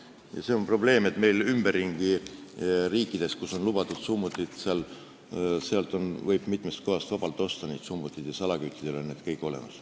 Probleem on see, et meid ümbritsevates riikides, kus summutid on lubatud, võib neid mitmes kohas vabalt osta, ja salaküttidel on need kõik olemas.